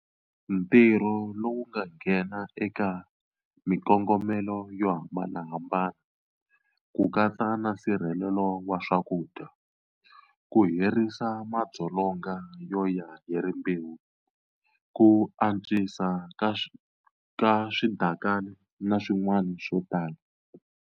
Ntirho lowu nghena eka mikongomelo yo hambanahambana, ku katsa na nsirhelelo wa swakudya, ku herisa madzolonga yo ya hi rimbewu, ku antswisiwa ka swidakana na swin'wana swo tala.